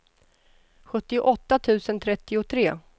sjuttioåtta tusen trettiotre